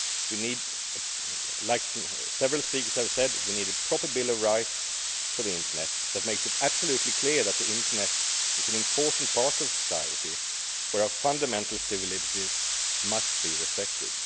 We need, as several speakers have said, a proper bill of rights for the internet that makes it absolutely clear that the internet is an important part of society, where our fundamental civil liberties must be respected.